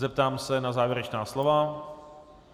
Zeptám se na závěrečná slova.